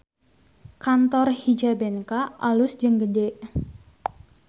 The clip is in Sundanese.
Kantor Hijabenka alus jeung gede